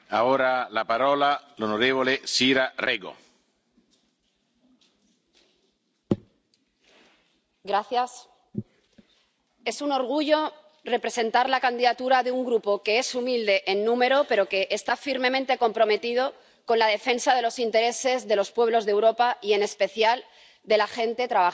Señor presidente, es un orgullo representar la candidatura de un Grupo que es humilde en número pero que está firmemente comprometido con la defensa de los intereses de los pueblos de Europa y, en especial, de la gente trabajadora.